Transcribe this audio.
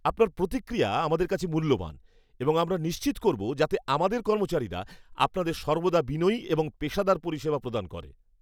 আপনার প্রতিক্রিয়া আমাদের কাছে মূল্যবান এবং আমরা নিশ্চিত করবো যাতে আমাদের কর্মচারীরা আপনাদের সর্বদা বিনয়ী এবং পেশাদার পরিষেবা প্রদান করে।